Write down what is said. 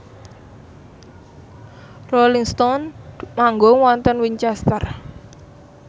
Rolling Stone manggung wonten Winchester